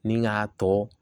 Ni k'a tɔ